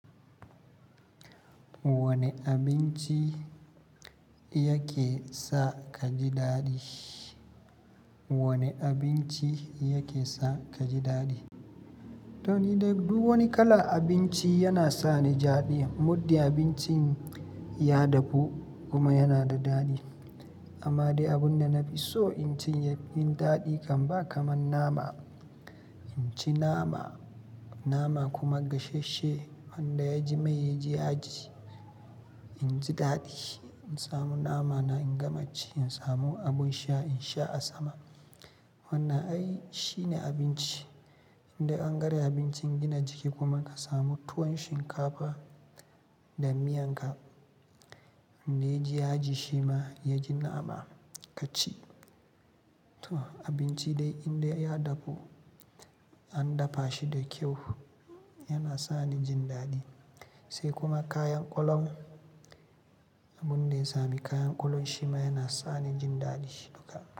Wane abinci yake sa ka ji daɗi? Wane abinci yake sa ka ji daɗi? To ni dai duk wani kalan abinci yana sa ni daɗi. Muddin abincin ya dahu kuma yana da daɗi. Amma dai abun da na fi so in ci ya fi min daɗi kam ba kamar nama. In ci nama, nama kuma gasasshe wanda ya ji mai, ya ji yaji, in ji daɗi. In samu nama na in gama ci, in samu abun sha in sha a sama. Wannan ai shine abinci. Indai ɓan garen abincin gina jiki kuma ka samu tuwon shinkafa da miyan ka. Wanda yaji shima ya ji nama kaci. To abinci dai indai ya dafu an dafa shi da kyau yana sa ni jin daɗi. Sai kuma kayan ƙwalam. Abun da ya sami kayan ƙwalam shima yana sa ni jin daɗi duka.